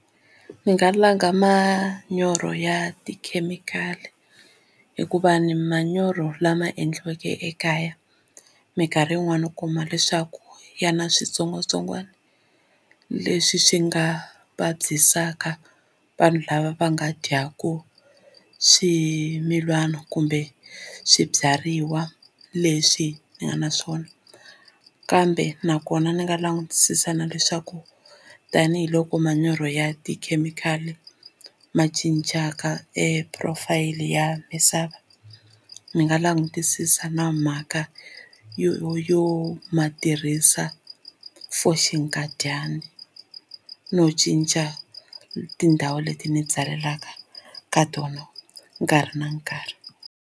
Ni nga langa manyoro ya tikhemikhali hikuva ni manyoro lama endliweke ekaya minkarhi yin'wani u kuma leswaku ya na switsongwatsongwana leswi swi nga vabyisaka vanhu lava va nga dyaku swimilana kumbe swibyariwa leswi ni nga na swona kambe nakona ni nga langutisisa na leswaku tanihiloko manyoro ya tikhemikhali ma cincaka e profile ya misava ni nga langutisisa na mhaka yo yo ma tirhisa for xinkadyana no cinca tindhawu leti ni byalelaka ka tona nkarhi na nkarhi.